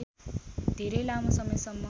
धेरै लामो समयसम्म